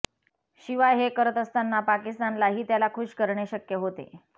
शिवाय हे करत असताना पाकिस्तानलाही त्याला खूश करणे शक्य होते